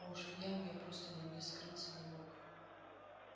а уж в яме я просто нигде скрыться не мог